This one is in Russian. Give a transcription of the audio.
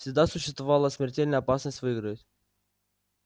всегда существовала смертельная опасность выиграть